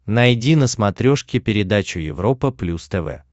найди на смотрешке передачу европа плюс тв